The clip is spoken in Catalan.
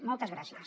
moltes gràcies